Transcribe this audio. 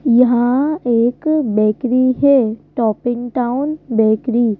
यहां एक बेकरी है टॉप इन टाउन बेकरी ।